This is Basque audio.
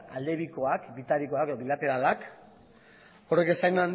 alde bikoak bitarikoak eta bilateralak horrek esan